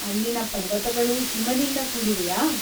ಅಲ್ಲಿನ ಪರ್ವತಗಳೂ ಹಿಮದಿಂದ ಕೂಡಿವೆಯಾ?